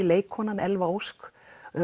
leikkonan Elva Ósk